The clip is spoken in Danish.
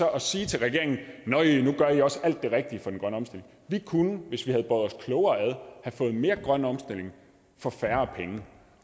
at sige til regeringen nøj nu gør i også alt det rigtige for den grønne omstilling vi kunne hvis vi havde båret os klogere ad have fået mere grøn omstilling for færre penge